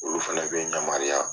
Olu fana bɛ n ɲamariya.